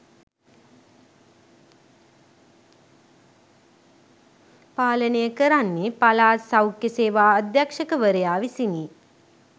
පාලනය කරන්නේ පළාත් සෞඛ්‍ය සේවා අධ්‍යක්‍ෂකවරයා විසිනි